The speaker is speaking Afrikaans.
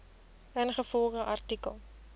ingevolge artikel